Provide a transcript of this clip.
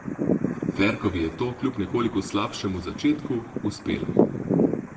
Ferkovi je to, kljub nekoliko slabšem začetku, uspelo.